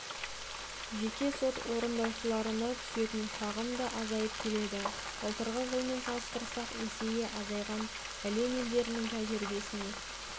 жеке сот орындаушыларына түсетін шағым да азайып келеді былтырғы жылмен салыстырсақ есеге азайған әлем елдерінің тәжірибесіне